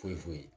Foyi foyi foyi